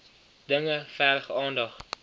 dinge verg aandag